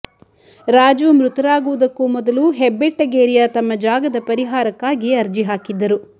ರಾಜು ಮೃತರಾಗುವುದಕ್ಕೂ ಮೊದಲು ಹೆಬ್ಬೆಟ್ಟಗೇರಿಯ ತಮ್ಮ ಜಾಗದ ಪರಿಹಾರಕ್ಕಾಗಿ ಅರ್ಜಿ ಹಾಕಿದ್ದರು